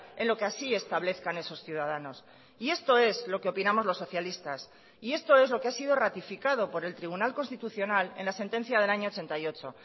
en lo que así establezcan esos ciudadanos y esto es lo que opinamos los socialistas y esto es lo que ha sido ratificado por el tribunal constitucional en la sentencia del año ochenta y ocho